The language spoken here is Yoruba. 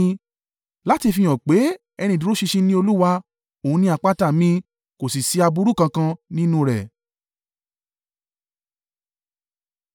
láti fihàn pé, “Ẹni ìdúró ṣinṣin ni Olúwa; òun ni àpáta mi, kò sì ṣí aburú kankan nínú rẹ̀.”